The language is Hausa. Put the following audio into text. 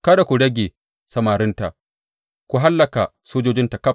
Kada ku rage samarinta, ku hallaka sojojinta ƙaf.